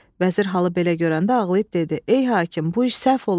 Vəzir halı belə görəndə ağlayıb dedi: "Ey hakim, bu iş səhv olub.